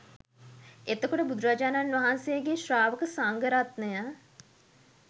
එතකොට බුදුරජාණන් වහන්සේගේ ශ්‍රාවක සංඝරත්නය